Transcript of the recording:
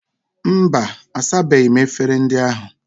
Mba, asabeghi m efere ndị ahụ.